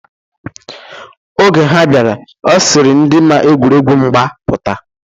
Oge ha bịara, ọ sịrị ndị ma egwuregwu mgba pụta.